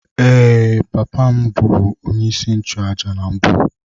Ee, papa m bụbu onyeisi nchụàjà na mbụ.